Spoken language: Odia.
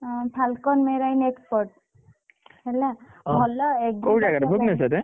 ଅ Falcon Marine Export ହେଲା ।